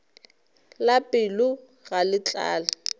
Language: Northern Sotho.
la pelo ga le tlale